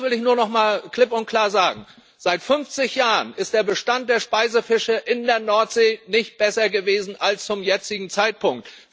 Eines will ich nur noch mal klipp und klar sagen Seit 50 Jahren ist der Bestand der Speisefische in der Nordsee nicht besser gewesen als zum jetzigen Zeitpunkt.